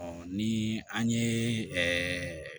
ni an ye ɛɛ